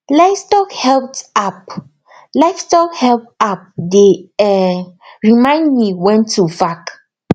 livestock health app livestock health app dey um remind me when to vac